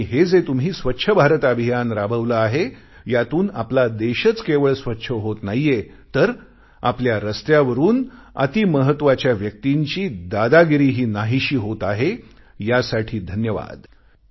आणि हे जे तुम्ही स्वच्छ भारत अभियान राबवले आहे यातून आपला देशच केवळ स्वच्छ होत नाहीये तर आपल्या रस्त्यावरून अतिमहत्वाच्या व्यक्तींची दादागिरीही नाहीशी होत आहेयासाठी धन्यवाद